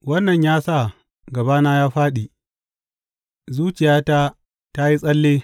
Wannan ya sa gabana ya fāɗi, zuciyata ta yi tsalle.